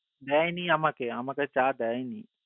দেয়নি আমাকে আমাকে চা দেয় নি